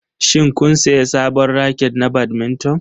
Shin kun sayi sabon raket na badminton?